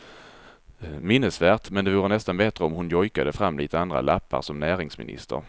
Minnesvärt, men det vore nästan bättre om hon jojkade fram lite andra lappar som näringsminister.